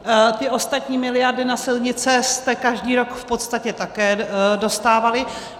Ty ostatní miliardy na silnice jste každý rok v podstatě také dostávali.